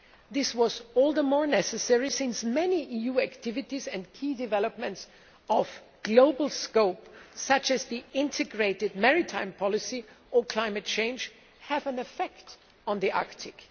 This was all the more necessary because many EU activities and key developments of global scope, such as the integrated maritime policy or climate change, have an effect on the Arctic.